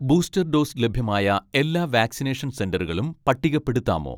booster dose ലഭ്യമായ എല്ലാ vaccination സെന്ററുകളും പട്ടികപ്പെടുത്താമോ